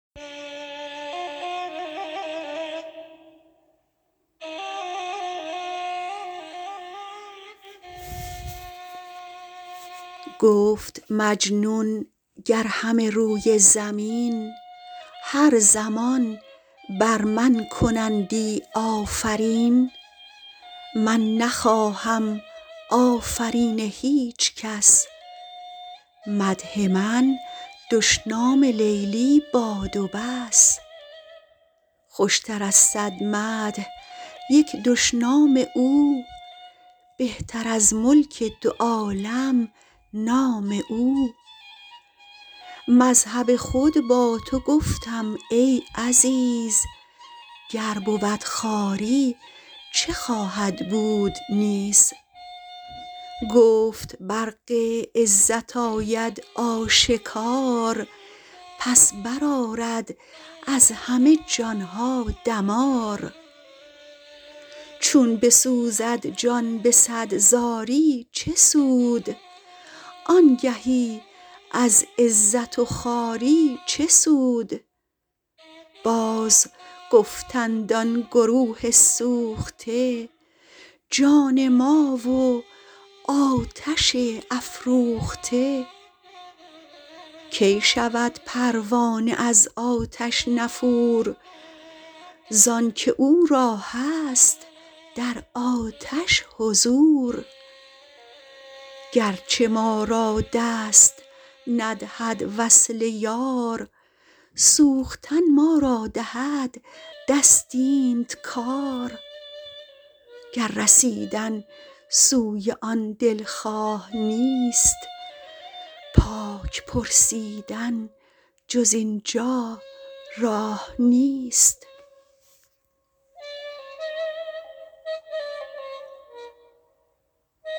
گفت مجنون گر همه روی زمین هر زمان بر من کنندی آفرین من نخواهم آفرین هیچ کس مدح من دشنام لیلی باد و بس خوشتراز صد مدح یک دشنام او بهتر از ملک دو عالم نام او مذهب خود با توگفتم ای عزیز گر بود خواری چه خواهد بود نیز گفت برق عزت آید آشکار پس برآرد از همه جانها دمار چون بسوزد جان به صد زاری چه سود آنگهی از عزت و خواری چه سود بازگفتند آن گروه سوخته جان ما و آتش افروخته کی شود پروانه از آتش نفور زانک او را هست در آتش حضور گرچه ما را دست ندهد وصل یار سوختن ما را دهد دست اینت کار گر رسیدن سوی آن دلخواه نیست پاک پرسیدن جز اینجا راه نیست